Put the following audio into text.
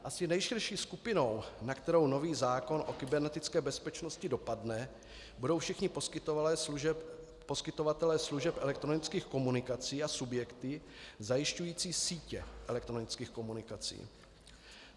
Asi nejširší skupinou, na kterou nový zákon o kybernetické bezpečnosti dopadne, budou všichni poskytovatelé služeb elektronických komunikací a subjektů zajišťujících sítě elektronických komunikací.